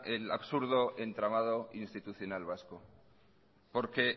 el absurdo entramado institucional vasco porque